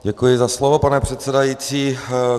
Děkuji za slovo, pane předsedající.